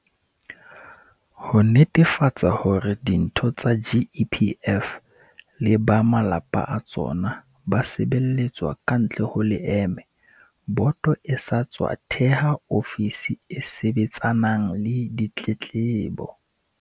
Ho netefatsa hore ditho tsa GEPF le ba malapa a tsona ba sebeletswa kantle ho leeme, boto e sa tswa theha ofisi e sebetsanang le ditletlebo.